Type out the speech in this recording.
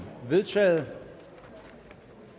vedtaget